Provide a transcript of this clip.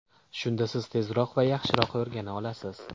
Shunda siz tezroq va yaxshiroq o‘rgana olasiz.